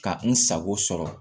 Ka n sago sɔrɔ